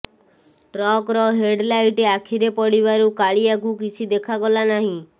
ଟ୍ରକର headlight ଆଖିରେ ପଡ଼ିବାରୁ କାଳିଆକୁ କିଛି ଦେଖାଗଲା ନାହିଁ